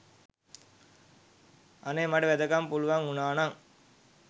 අනේ මට වෙදකම පුළුවන් වුනා නං